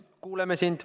Kuuleme sind.